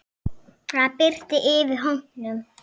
Það birti yfir hópnum.